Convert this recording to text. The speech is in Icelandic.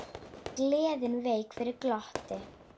Gleðin vék fyrir glotti.